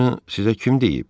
Bunu sizə kim deyib?